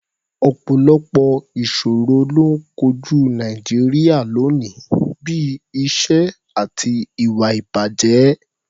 Ọ̀pọ̀lọpọ̀ ìṣòro ló ń kojú Nàìjíríà lónìí, bí i ìṣẹ́ àti ìwà-ìbàjẹ́.